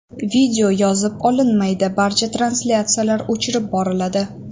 Video yozib olinmaydi barcha translyatsiyalar o‘chirib boriladi.